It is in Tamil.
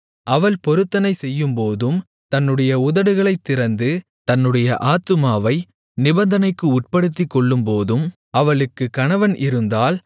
அவள் பொருத்தனை செய்யும்போதும் தன்னுடைய உதடுகளைத் திறந்து தன்னுடைய ஆத்துமாவை நிபந்தனைக்கு உட்படுத்திக்கொள்ளும்போதும் அவளுக்கு கணவன் இருந்தால்